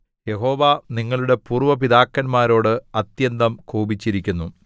യഹോവ നിങ്ങളുടെ പൂര്‍വ പിതാക്കന്മാരോട് അത്യന്തം കോപിച്ചിരിക്കുന്നു